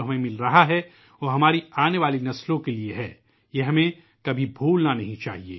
ہمیں حاصل ہونے والا بارانی پانی ہماری مستقبل کی پیڑھی کے لئے، ہمیں یہ کبھی فراموش نہیں کرنا چاہئے